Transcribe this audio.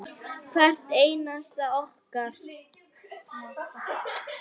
Hvert einasta okkar.